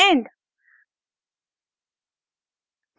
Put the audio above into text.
end